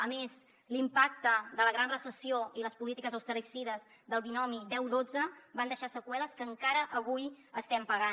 a més l’impacte de la gran recessió i les polítiques austericides del binomi deu dotze van deixar seqüeles que encara avui estem pagant